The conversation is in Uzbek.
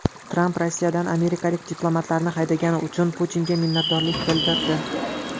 Tramp Rossiyadan amerikalik diplomatlarni haydagani uchun Putinga minnatdorlik bildirdi.